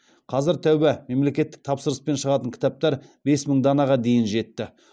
қазір тәуба мемлекеттік тапсырыспен шығатын кітаптар бес мың данаға дейін жетті